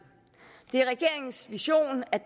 det er regeringens vision at